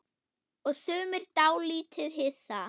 Og sumir dálítið hissa?